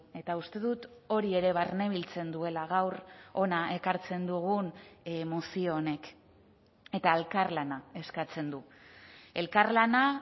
eta uste dut hori ere barnebiltzen duela gaur hona ekartzen dugun mozio honek eta elkarlana eskatzen du elkarlana